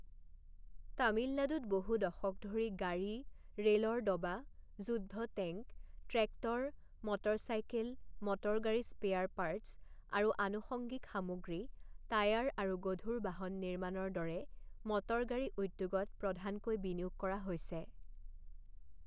তামিলনাডুত বহু দশক ধৰি গাড়ী, ৰে'লৰ ডবা, যুদ্ধ টেংক, ট্ৰেক্টৰ, মটৰচাইকেল, মটৰগাড়ী স্পেয়াৰ পাৰ্টচ আৰু আনুষঙ্গিক সামগ্ৰী, টায়াৰ আৰু গধুৰ বাহন নিৰ্মাণৰ দৰে মটৰগাড়ী উদ্যোগত প্ৰধানকৈ বিনিয়োগ কৰা হৈছে।